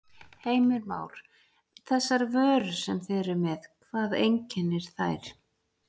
Heimir Már: Þessar vörur sem þið eruð með, hvað einkennir þær?